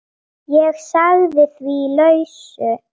Ég sagði því lausu.